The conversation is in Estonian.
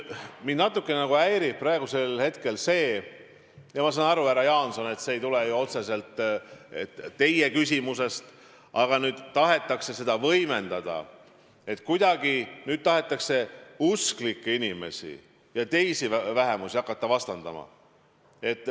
Mind natukene häirib praegusel hetkel see – ma saan aru, härra Jaanson, et see ei tule otseselt teie küsimusest –, et tahetakse seda võimendada, et tahetakse kuidagi usklikke inimesi ja teisi vähemusi hakata vastandama.